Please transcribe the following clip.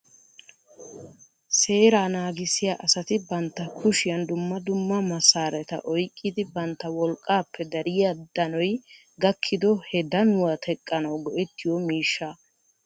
Seeraa naagissiya asati bantta kushiyan dumma dumma masareta oyqqidi bantta wolqqappe dariyaa danoy gakkiko he danuwaa teqqanaw go"ettiyo miishshaa .